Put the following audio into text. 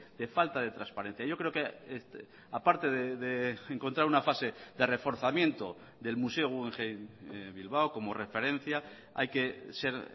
de falta de transparencia yo creo que aparte de encontrar una fase de reforzamiento del museo guggenheim bilbao como referencia hay que ser